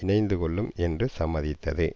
இணைந்துக்கொள்ளும் என்று சம்மதித்தது